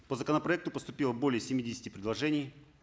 по законопроекту поступило более семидесяти предложений